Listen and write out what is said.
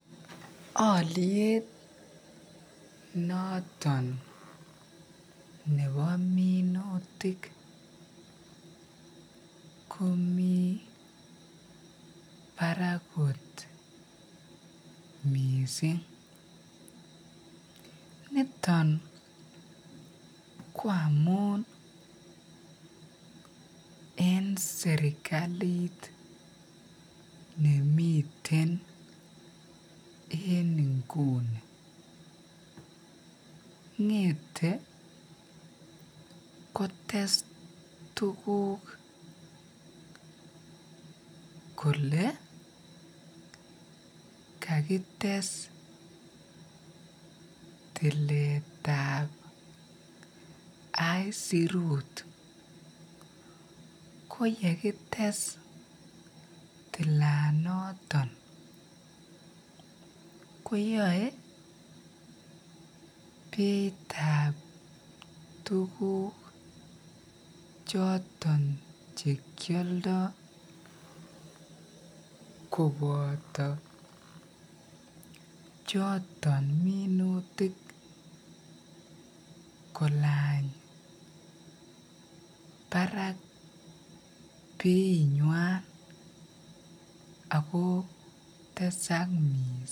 Oliet noton nebo minutik komii barak kot mising, niton ko amun en serikalit nemiten en inguni, ngete kotes tukuk kolee kakites tiletab aisirut ko yekites tilanoton koyoe beitab tukuk choton chekioldo koboto choton minutik kolan barak beinywan ak ko tesak mising.